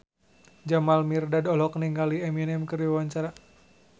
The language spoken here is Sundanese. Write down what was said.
Jamal Mirdad olohok ningali Eminem keur diwawancara